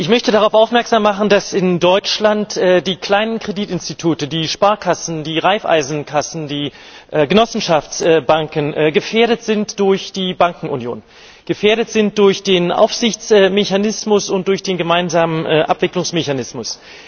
Ich möchte darauf aufmerksam machen, dass in Deutschland die kleinen Kreditinstitute, die Sparkassen, die Raiffeisenkassen, die Genossenschaftsbanken gefährdet sind durch die Bankenunion, gefährdet sind durch den Aufsichtsmechanismus und durch den gemeinsamen Abwicklungsmechanismus.